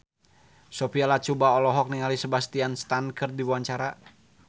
Sophia Latjuba olohok ningali Sebastian Stan keur diwawancara